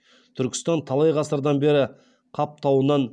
түркістан талай ғасырдан бері қап тауынан